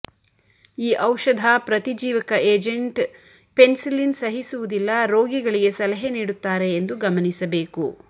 ಈ ಔಷಧ ಪ್ರತಿಜೀವಕ ಏಜೆಂಟ್ ಪೆನಿಸಿಲಿನ್ ಸಹಿಸುವುದಿಲ್ಲ ರೋಗಿಗಳಿಗೆ ಸಲಹೆ ನೀಡುತ್ತಾರೆ ಎಂದು ಗಮನಿಸಬೇಕು